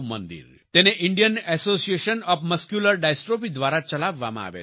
તેને Indian Association of Muscular Dystrophy દ્વારા ચલાવવામાં આવે છે